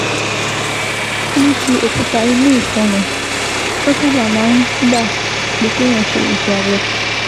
Ní ti òkúta inú ìfun ni, ó sábà máa ń gba pé kéèyàn ṣe iṣẹ́ abẹ